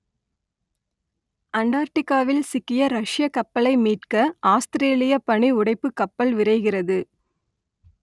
அண்டார்டிக்காவில் சிக்கிய ரஷ்யக் கப்பலை மீட்க ஆஸ்திரேலிய பனி உடைப்புக் கப்பல் விரைகிறது